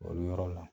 O yɔrɔ la